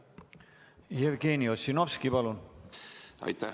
Jevgeni Ossinovski, palun!